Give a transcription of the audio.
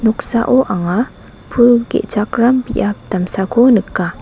noksao anga pul ge·chakram biap damsako nika.